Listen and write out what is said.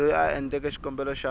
loyi a endleke xikombelo xa